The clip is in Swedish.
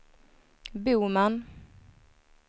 Boman